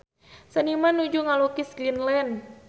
Seniman nuju ngalukis Greenland